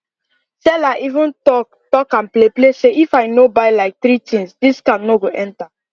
seller even talk talk am play play say if i no buy like three things discount no go enter